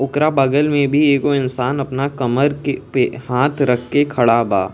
ओकरा बगल में भी एगो इंसान अपना कमर के पे हांथ रख के खड़ा बा।